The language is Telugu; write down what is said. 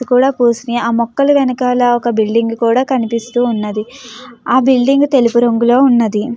కూడా పూసిన ఆ మొక్కలు వెనకాల ఒక బిల్డింగ్ కూడా కనిపిస్తూ ఉన్నది. ఆ బిల్డింగ్ తెలుగు రంగులో ఉన్నది.